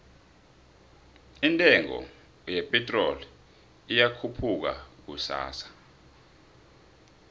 indengo ye pitrol iyokhupuka kusasa